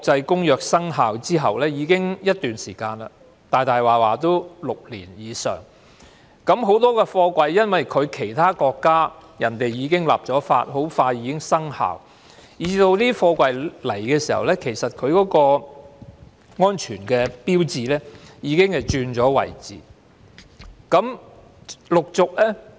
《公約》的決議生效大概已有6年以上時間，很多貨櫃因為其他國家已經立法並很快生效，以致這些貨櫃來到香港時，它們的安全合格牌照的標記已經轉變了位置。